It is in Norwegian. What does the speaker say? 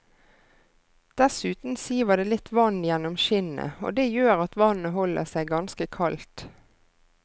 Dessuten siver det litt vann gjennom skinnet, og det gjør at vannet holder seg ganske kaldt.